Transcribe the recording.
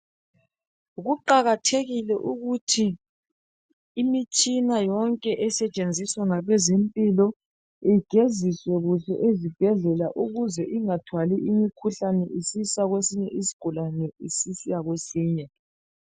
Kuqakathekile ukuthi imitshina yonke esetshenziswa ngabezempilo igeziswe kuhle ezibhedlela ukuze ingathwali imikhuhlane isisa kwesinye isigulane isisiya kwesinye